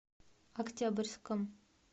октябрьском